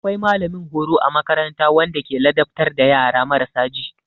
Akwai mallamin horo a makaranta wanda ke ladabtar da yara marasa ji.